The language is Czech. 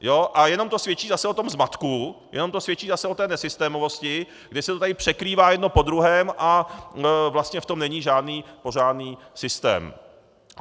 A jenom to svědčí zase o tom zmatku, jenom to svědčí zase o té nesystémovosti, kdy se to tady překrývá jedno po druhém a vlastně v tom není žádný pořádný systém.